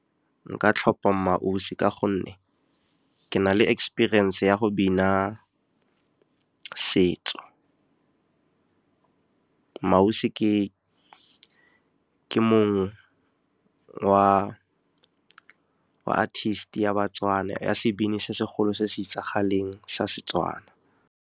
Nka tlhopha MmaAusi ka gonne ke na le experience ya go bina setso. MmaAusi ke mongwe artist ya baTswana ya sebini se segolo se se itsagaleng sa Setswana.